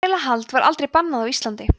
þrælahald var aldrei bannað á íslandi